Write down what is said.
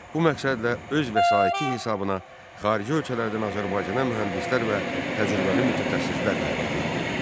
Bu məqsədlə öz vəsaiti hesabına xarici ölkələrdən Azərbaycana mühəndislər və təcrübəli mütəxəssislər dəvət etdi.